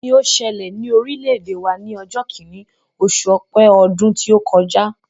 Kíni ó ṣẹlẹ̀ ní orílẹ̀-èdè wa ní ọjọ́ kìíní, oṣù Ọpẹ́ ọdún tí ó kọjá?